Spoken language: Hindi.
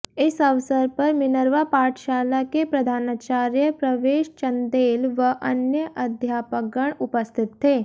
इस अवसर पर मिनर्वा पाठशाला के प्रधानाचार्य प्रवेश चंदेल व अन्य अध्यापकगण उपस्थित थे